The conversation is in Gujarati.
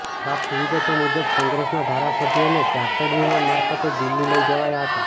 પ્રાપ્ત વિગતો મુજબ કોંગ્રેસના ધારાસભ્યોને ચાર્ટર્ડ વિમાન મારફતે દિલ્હી લઈ જવાયા હતા